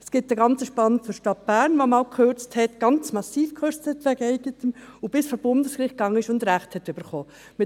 Es gibt einen ganz spannenden für die Stadt Bern, die einmal ganz massiv gekürzt hat, bis vor Bundesgericht gegangen ist und Recht bekommen hat.